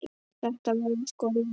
Þetta væri sko lífið.